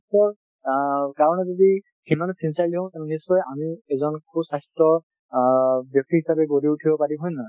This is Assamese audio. নিজৰ স্বাস্থ্যৰ অ কাৰণে যদি সিমানো sincerely হওঁ তেনেহলে আমি নিশ্চয় আমি এজন সুস্বাস্থ্য অ ব্যক্তি হিচাপে গঢ়ি উঠিব পাৰিম, হয় নে নহয়।